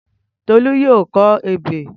Tolú yóò kọ ebè